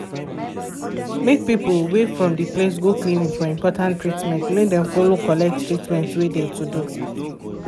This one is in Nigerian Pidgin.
make people wey from de place go clinic for important treatment make dem follow collect treatment wey de to do.